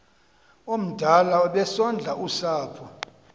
omdala obesondla usapho